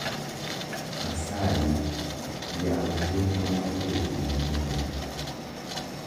Asayi yaw chenro mar weche manyien